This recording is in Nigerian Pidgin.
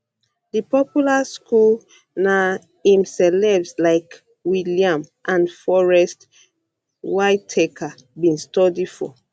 di popular school popular school na im celebs like william and forest whitaker bin study for